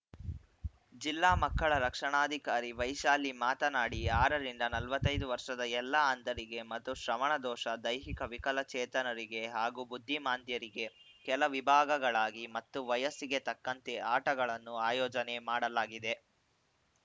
ಜಿಲ್ಲಾ ಮಕ್ಕಳ ರಕ್ಷಣಾಧಿಕಾರಿ ವೈಶಾಲಿ ಮಾತನಾಡಿ ಆರರಿಂದ ನಲವತ್ತ್ ಐದು ವರ್ಷದ ಎಲ್ಲಾ ಅಂಧರಿಗೆ ಮತ್ತು ಶ್ರವಣದೋಷ ದೈಹಿಕ ವಿಕಲಚೇತನರಿಗೆ ಹಾಗೂ ಬುದ್ಧಿಮಾಂದ್ಯರಿಗೆ ಕೆಲ ವಿಭಾಗಗಳಾಗಿ ಮತ್ತು ವಯಸ್ಸಿಗೆ ತಕ್ಕಂತೆ ಆಟಗಳನ್ನು ಆಯೋಜನೆ ಮಾಡಲಾಗಿದೆ